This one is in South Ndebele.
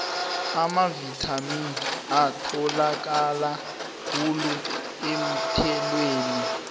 amavithamini atholakala khulu eenthelweni